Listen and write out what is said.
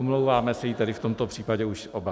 Omlouváme se jí tady v tomto případě už oba.